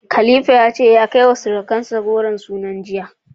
Khalifa ya ce ya kai wa sirukansa ragon sunan jiya.